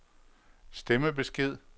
stemmebesked